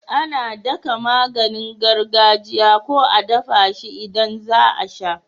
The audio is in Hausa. Ana daka maganin gargajiya ko a dafa shi idan zaa sha